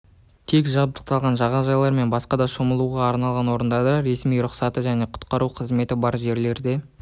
тек жабдықталған жағажайлар мен басқа да шомылуға арналған орындарда ресми рұқсаты және құтқару қызметі бар жерлерде